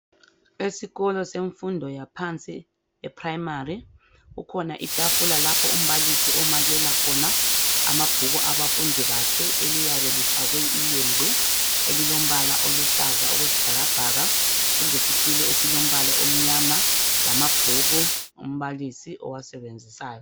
Esikolo semfundo yaphansi, eprimary, kukhona itafula lapho umbalisi omakela khona amabhuku abafundi bakhe, eliyabe lifakwe ilembu elilombala oluhlaza okwesibhakabhaka, kulesitulo esilombala omnyama, lamabhuku umbalisi owasebenzisayo.